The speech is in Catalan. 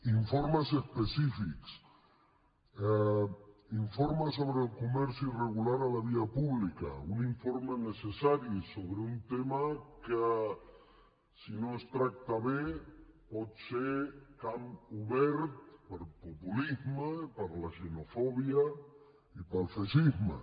informes específics informe sobre el comerç irregular a la via pública un informe necessari sobre un tema que si no es tracta bé pot ser camp obert per a populisme i per a la xenofòbia i per al feixisme